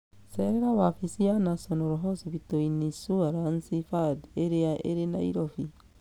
Cerera wabici ya National Hospital Insurance Fund ĩrĩa ĩrĩ Nairobi.